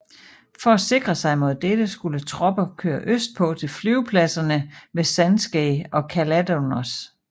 For at sikre sig mod dette skulle tropper køre østpå til flyvepladserne ved Sandskeið og Kaldaðarnes